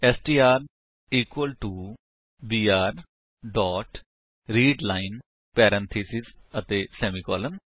STR equal to BR dot read line parenthesis ਅਤੇ semicolon